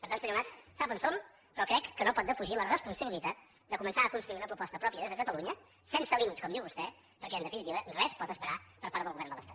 per tant senyor mas sap on som però crec que no pot defugir la responsabilitat de començar a construir una proposta pròpia des de catalunya sense límits com diu vostè perquè en definitiva res pot esperar per part del govern de l’estat